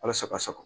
Walasa ka sa